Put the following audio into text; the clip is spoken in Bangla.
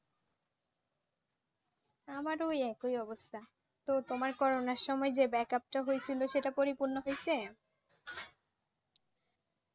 আমার ও ঐ একই অবস্থা। তো তোমার করোনার সময় যে backup টা হয়েছিল সেটা পরিপূর্ণ হইছে?